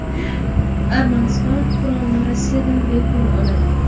Armaniston qurolni Rossiyadan bepul oladi.